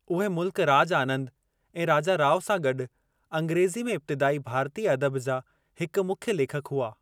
उहे मुल्क राज आनंद ऐं राजा राव सां गडु॒ अंग्रेज़ी में इब्तिदाई भारतीय अदबु जा हिकु मुख्य लेखकु हुआ।